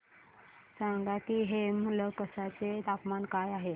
सांगा की हेमलकसा चे तापमान काय आहे